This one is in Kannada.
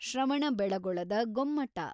ಶ್ರವಣಬೆಳಗೊಳದ ಗೊಮ್ಮಟ